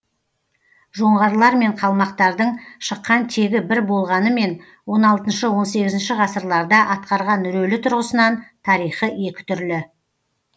жоңғарлармен қалмақтардың шыққан тегі бір болғанымен он алтыншы он сегізінші ғасырларда атқарған рөлі тұрғысынан тарихы екі түрлі